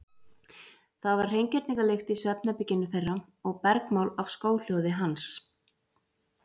Það var hreingerningarlykt í svefnherberginu þeirra og bergmál af skóhljóði hans.